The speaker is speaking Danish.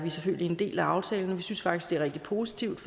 selvfølgelig en del af aftalen vi synes faktisk det er rigtig positivt